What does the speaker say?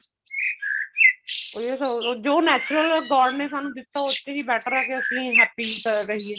ਉਹ ਇਹ ਸੋਚਦੇ ਨੇ ਜੋ natural god ਨੇ ਸਾਨੂੰ ਦਿੱਤਾ ਉੱਥੇ ਹੀ better ਐ ਕਿ ਅਸੀਂ happy ਰਹੀਏ